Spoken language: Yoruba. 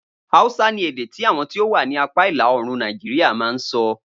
Hausa ni èdè tí àwọn tí o wà ni apá ìlàòrùn Nàìjíríà ma ń sọ